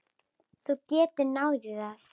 Þú getur náð í það.